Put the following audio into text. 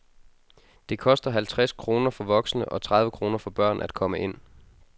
Det koster halvtreds kroner for voksne og tredive kroner for børn at komme ind.